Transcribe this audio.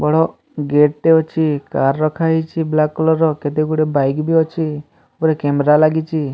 ବଡ ଗେଟ୍ ଟେ ଅଛି କାର୍ ରଖାହେଇଚି ବ୍ଲାକ କଲର୍ ର କେତେଗୁଡ଼ିଏ ବାଇକ୍ ବି ଅଛି ଉପରେ କ୍ୟାମେରା ଲାଗିଚି।